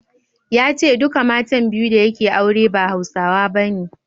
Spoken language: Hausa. Ya ce duka matan biyu da yake aure ba Hausawa bane.